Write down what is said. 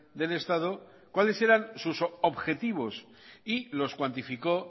del estado cuáles eran sus objetivos y los cuantificó